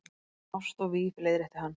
Ást og víf- leiðrétti hann.